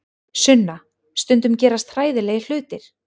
Sunna, stundum gerast hræðilegir hlutir.